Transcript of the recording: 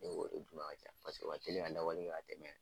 Ne b'o de d'u ma ka caya. Paseke o ka telin ka labɔli kɛ ka tɛmɛ